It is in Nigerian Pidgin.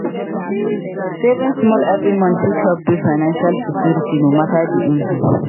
Saving small every month fit help build financial security no matter di income.